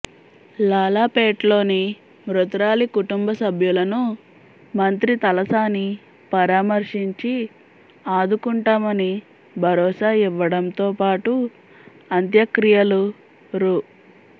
లాలాపేట్లోని మృతురాలి కుటుంబ సభ్యులను మంత్రి తలసాని పరామర్శించి ఆదుకుంటామని భరోసా ఇవ్వడంతోపాటు అంత్యక్రియలకు రు